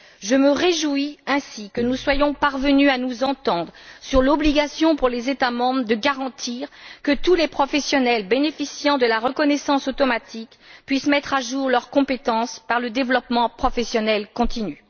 Je me réjouis ainsi que nous soyons parvenus à nous entendre sur l'obligation pour les États membres de garantir que tous les professionnels bénéficiant de la reconnaissance automatique peuvent mettre à jour leurs compétences par le développement professionnel continu.